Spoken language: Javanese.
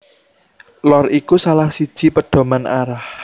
Lor iku salah siji pedoman arah